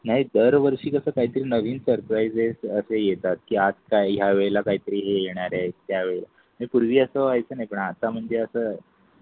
नाही दरवर्षी कसं काहीतरी नवीन सरप्राईस असे येतात की आज काय या वेळेला काहीतरी हे येणार आहे त्यावेळी पूर्वी असं व्हायचं आहे. आत्ता म्हणजे असं.